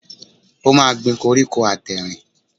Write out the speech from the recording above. O máa gbin koríko àtẹ̀rìn.